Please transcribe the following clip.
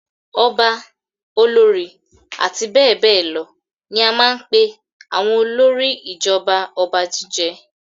Ọba, olórí àti bẹ́ẹ̀ bẹ́ẹ̀ lọ ní a máa ń pe àwọn olórí ìjọba ọba jíjẹ.